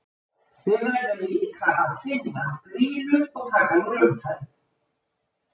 Við verðum líka að finna, Grýlu og taka hana úr umferð.